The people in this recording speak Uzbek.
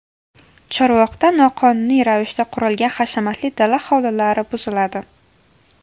Chorvoqda noqonuniy ravishda qurilgan hashamatli dala hovlilari buziladi.